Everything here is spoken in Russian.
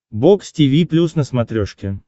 бокс тиви плюс на смотрешке